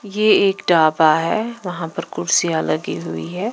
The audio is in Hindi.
यह एक डाबा है वहां पर कुर्सियां लगी हुई है।